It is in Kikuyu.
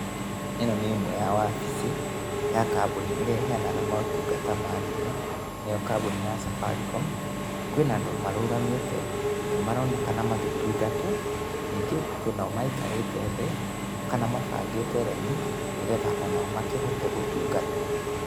Ĩno nĩ ĩmwe ya wabĩcĩ ya kambuni ĩrĩa iheanaga motungata ma thimũ nĩyo kambuni ya Safaricom. Kwĩna andũ marũgamĩte na nĩ maronekana magĩtungatwo ningĩ kwĩ nao maikarĩte thĩ kana mabangĩte raini nĩgetha onao makĩhote gũtungatwo.